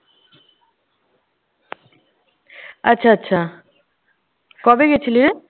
আচ্ছা আচ্ছা। কবে গেছিলিরে?